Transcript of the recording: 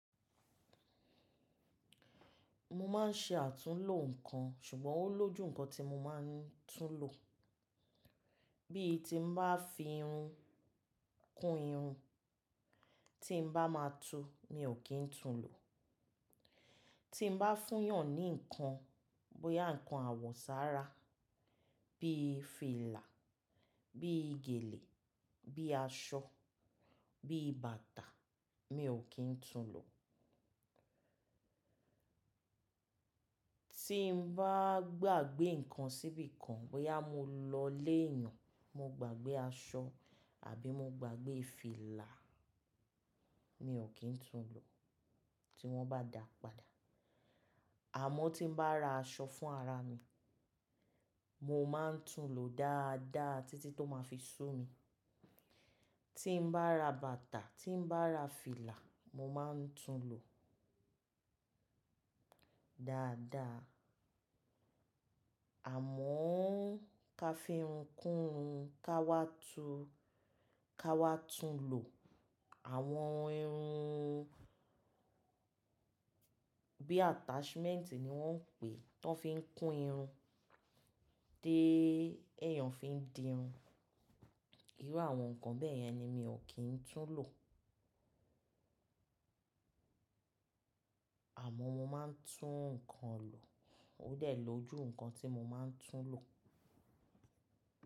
Mo máa ń ṣe àtúnlo nǹkan ṣùgbọ́n ó lójú nǹkan tí mo máa ń tún lò. Bí i tí mo bá fi irun kún irun, tí mo bá máa tu ni ò kí ń tún lò. Tí mo bá fúyàn ní nǹkan, bóyá nǹkan àwọ̀sára bíi fìlà, bí i gèlè, bíi aṣọ, bíi bàtà mi ò kí ń tún lò. Tí mo bá gbàgbé nǹkan síbi kan, bóyá mo lọ ilé ẹyàn, mo gbàgbé aṣọ àbí mo gbàgbé fìlà mi ò kí ń tún lò tí wọ́n bá dàá padà. Àmọ́ tí mo bá ra aṣọ fún ara mi, mo máa ń tún lò dáadáa títí tó máa fi sú mi. Tí mo bá ra bàtà, tí mo bá ra fìlà, mo máa ń tún lò dáadáa. Àmọ́ ká fi irun kún irun, ká wá tu, ká wá tún lò àwọn irun bí i attachment ni wọ́n ń pè ẹ́ tó fi ń kún irun dé ẹ́eyàn fi ń dirun. Irú àwọn nǹkan bẹ́ẹ̀ yẹn ni mi ò kí ń tún lò. Àmọ́ mo máa ń tún nǹkan lò. Ó dẹ̀ ló jù nǹkan tí mo máa ń tún lò.